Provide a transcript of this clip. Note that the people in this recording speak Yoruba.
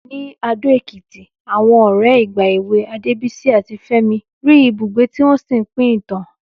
Ní Adó-Ẹ̀kìtì, àwọn ọ̀rẹ́ ìgbà èwe Adébísí àti Fẹ́mi rí ibùgbé tí wọ́n sì pín ìtàn.